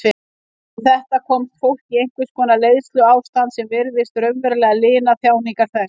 Við þetta komst fólk í einhvers konar leiðsluástand sem virtist raunverulega lina þjáningar þess.